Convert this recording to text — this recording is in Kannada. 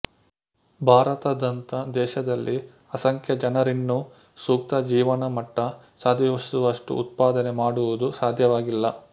ಭಾರತದಂಥ ದೇಶದಲ್ಲಿ ಅಸಂಖ್ಯ ಜನರಿನ್ನೂ ಸೂಕ್ತ ಜೀವನಮಟ್ಟ ಸಾಧಿಸುವಷ್ಟು ಉತ್ಪಾದನೆ ಮಾಡುವುದು ಸಾಧ್ಯವಾಗಿಲ್ಲ